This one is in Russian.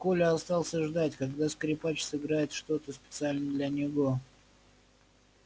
коля остался ждать когда скрипач сыграет что то специально для него